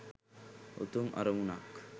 උතුම් අරමුණක්